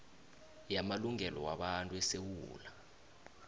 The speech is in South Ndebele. yamalungelo wabantu esewula